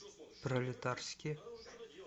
пролетарске